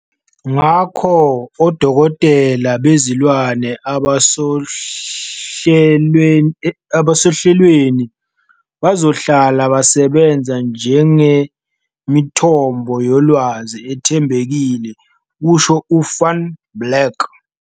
Ngakho, odokotela bezilwane abasohlelweni bazohlala besebenza njengemithombo yolwazi ethembekile," kusho u-Van Blerk.